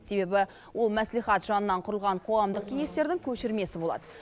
себебі ол мәслихат жанынан құрылған қоғамдық кеңестердің көшірмесі болады